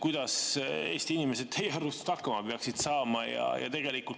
Kuidas Eesti inimesed teie arust hakkama peaksid saama?